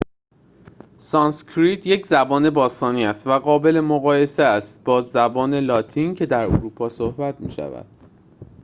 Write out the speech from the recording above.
سانسکریت یک زبان باستانی است و قابل مقایسه است با زبان لاتین که در اروپا صحبت می شود